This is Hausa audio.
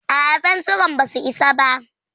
A'a, fensiran basu isa ba.